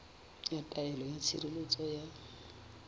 ya taelo ya tshireletso ya